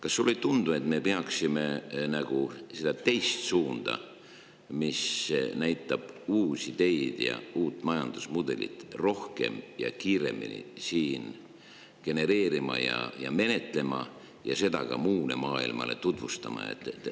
Kas sulle ei tundu, et me peaksime siin seda teist suunda, mis näitab meile uusi teid ja uut majandamismudelit, rohkem ja kiiremini genereerima ja menetlema ning seda ka muule maailmale tutvustama?